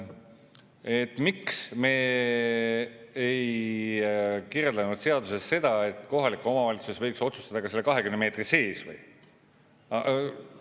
Et miks me ei kirjutanud seadusesse seda, et kohalik omavalitsus võiks otsustada ka selle 20 meetri sees?